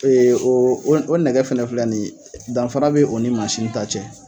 o o nɛgɛ fɛnɛ filɛ ni ye danfara bɛ o ni mansin nin ta cɛ